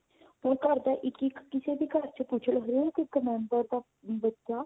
ਦੋ ਘਰ ਦਾ ਇੱਕ ਇੱਕ ਕਿਸੇ ਵੀ ਘਰ ਵਿਚ ਪੁੱਛ ਲਓ ਹਰੇਕ member ਦਾ ਬੱਚਾ